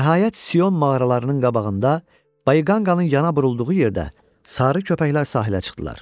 Nəhayət Sion mağaralarının qabağında Bayqanqın yana vurulduğu yerdə sarı köpəklər sahilə çıxdılar.